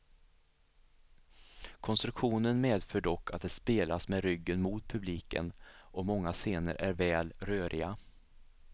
Konstruktionen medför dock att det spelas med ryggen mot publiken, och många scener är väl röriga.